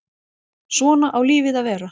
Svona á lífið að vera.